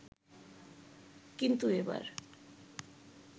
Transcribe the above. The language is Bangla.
কিন্তু এবার